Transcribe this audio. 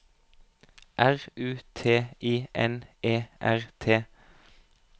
R U T I N E R T